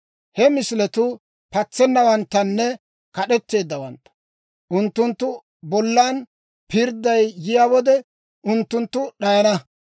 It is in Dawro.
He misiletuu patsennawanttanne, kad'etteeddawantta. Unttunttu bollan pirdday yiyaa wode, unttunttu d'ayana.